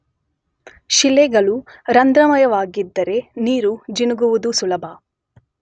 ಶಿಲೆಗಳು ರಂಧ್ರಮಯವಾಗಿದ್ದರೆ ನೀರು ಜಿನುಗುವುದು ಸುಲಭ.